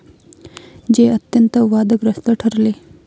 जे अत्यंत वादग्रस्त ठरले.